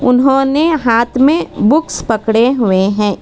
उन्होंने हाथ में बुक्स पकड़े हुए हैं।